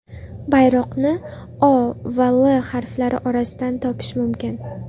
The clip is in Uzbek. Bayroqni O va L harflari orasidan topish mumkin.